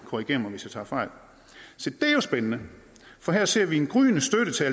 korrigere mig hvis jeg tager fejl se det er jo spændende for her ser vi en gryende støtte til